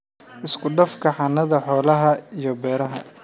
Isku dhafka xanaanada xoolaha iyo beeraha.